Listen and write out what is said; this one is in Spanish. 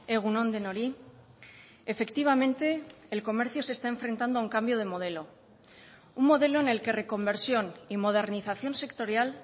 egun on denoi efectivamente el comercio se está enfrentando a un cambio de modelo un modelo en el que reconversión y modernización sectorial